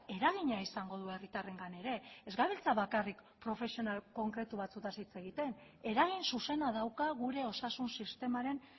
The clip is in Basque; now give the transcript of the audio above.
eragina izango du herritarrengan ere ez gabiltza bakarrik profesional konkretu batzuetaz hitz egiten eragin zuzena dauka gure osasun sistemaren